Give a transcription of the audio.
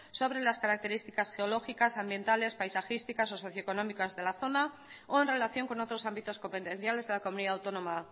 sobre las características geológicas ambientales paisajísticas o socio económicas de la zona o en relación con otros ámbitos competenciales de la comunidad autónoma